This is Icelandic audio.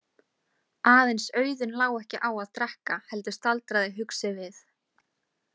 Aðeins Auðunn lá ekki á að drekka heldur staldraði hugsi við.